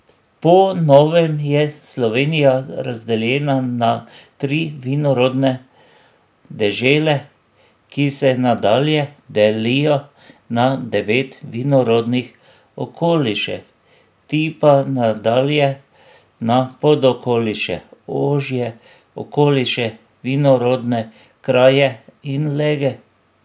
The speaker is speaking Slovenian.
Po novem je Slovenija razdeljena na tri vinorodne dežele, ki se nadalje delijo na devet vinorodnih okolišev, ti pa nadalje na podokoliše, ožje okoliše, vinorodne kraje in lege.